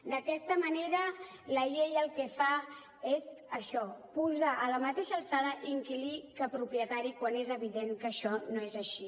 d’aquesta manera la llei el que fa és això posar a la mateixa alçada inquilí i propietari quan és evident que això no és així